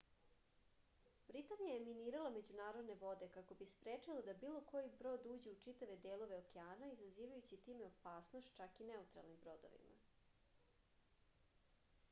britanija je minirala međunarodne vode kako bi sprečila da bilo koji brod uđe u čitave delove okeana izazivajući time opasnost čak i neutralnim brodovima